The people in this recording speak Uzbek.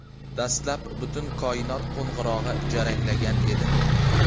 Dastlab butun koinot qo‘ng‘irog‘i jaranglagan edi.